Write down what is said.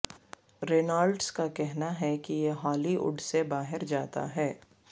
Reynolds کا کہنا ہے کہ یہ ہالی ووڈ سے باہر جاتا ہے